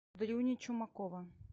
дрюни чумакова